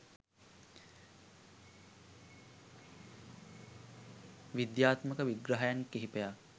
විද්‍යාත්මක විග්‍රහයන් කිහිපයක්